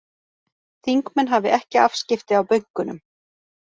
Þingmenn hafi ekki afskipti af bönkunum